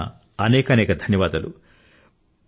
నా తరఫున అనేక అధన్యవాదాలు